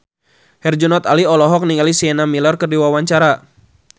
Herjunot Ali olohok ningali Sienna Miller keur diwawancara